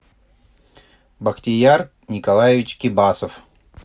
бахтияр николаевич кибасов